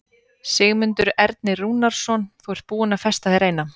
Sigmundur Ernir Rúnarsson: Þú ert búin að festa þér eina?